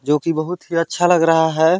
जोकि बहुत ही अच्छा लग रहा हें।